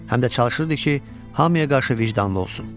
Həm də çalışırdı ki, hamıya qarşı vicdanlı olsun.